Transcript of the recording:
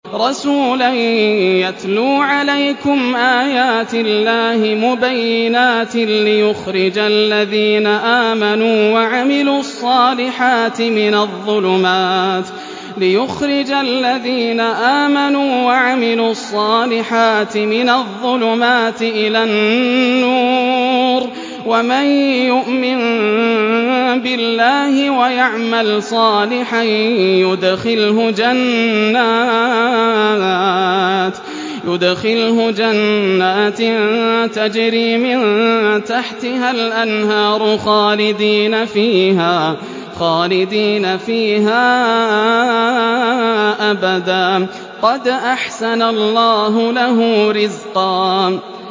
رَّسُولًا يَتْلُو عَلَيْكُمْ آيَاتِ اللَّهِ مُبَيِّنَاتٍ لِّيُخْرِجَ الَّذِينَ آمَنُوا وَعَمِلُوا الصَّالِحَاتِ مِنَ الظُّلُمَاتِ إِلَى النُّورِ ۚ وَمَن يُؤْمِن بِاللَّهِ وَيَعْمَلْ صَالِحًا يُدْخِلْهُ جَنَّاتٍ تَجْرِي مِن تَحْتِهَا الْأَنْهَارُ خَالِدِينَ فِيهَا أَبَدًا ۖ قَدْ أَحْسَنَ اللَّهُ لَهُ رِزْقًا